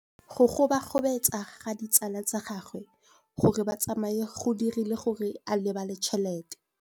Go gobagobetsa ga ditsala tsa gagwe, gore ba tsamaye go dirile gore a lebale tšhelete.